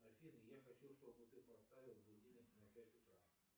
афина я хочу чтобы ты поставила будильник на пять утра